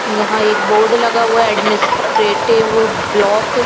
यहा एक बोर्ड लगा हुआ है अदमिसत्रतिव ब्लॉक ।